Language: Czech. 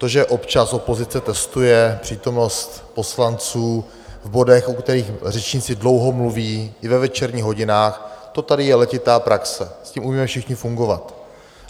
To, že občas opozice testuje přítomnost poslanců v bodech, u kterých řečníci dlouho mluví, i ve večerních hodinách, to tady je letitá praxe, s tím umíme všichni fungovat.